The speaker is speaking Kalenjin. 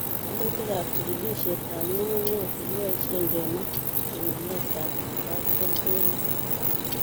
Wolutikab chikilisietab ng'ung'unyek chekebosien kenai pimanetab katoltolik.